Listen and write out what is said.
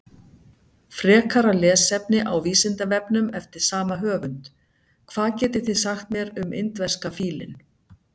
Frekara lesefni á Vísindavefnum eftir sama höfund: Hvað getið þið sagt mér um indverska fílinn?